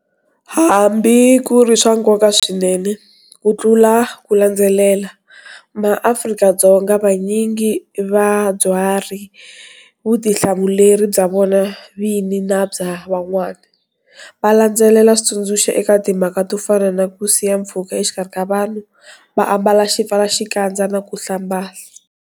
Hambi ku ri swa nkoka swinene kutlula ku landzelela, maAfrika-Dzonga vanyingi va byari vutihlamuleri bya vona vini na bya van'wana, va landzelela switsundzuxo eka timhaka to fana na ku siya mpfhuka exikarhi vanhu, va ambala xipfalaxikandza na ku hlamba.